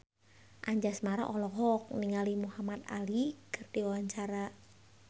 Anjasmara olohok ningali Muhamad Ali keur diwawancara